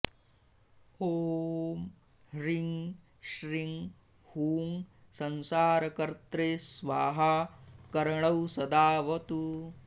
ॐ ह्रीं श्रीं हूं संसार कर्त्रे स्वाहा कर्णौ सदावतु